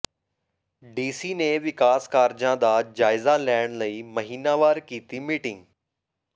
DC ਨੇ ਵਿਕਾਸ ਕਾਰਜਾਂ ਦਾ ਜਾਇਜ਼ਾ ਲੈਣ ਲਈ ਮਹੀਨਾਵਾਰ ਕੀਤੀ ਮੀਟਿੰਗ